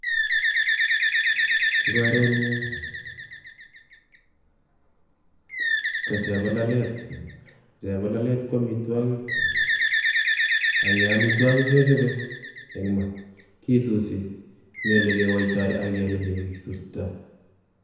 Eng korenyun kochebololet, chebololet ko amitwokik ak amitwokik kechobe eng' maa, kisusi, mii olekiwoitoi ak komii ole kisustoi.